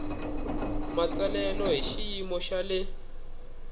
matsalelo hi xiyimo xa le